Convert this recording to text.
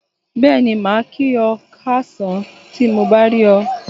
Bẹ́ẹ̀ni, màá kí ọ káàsán tí mo bá rí ọ.